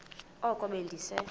oko be ndise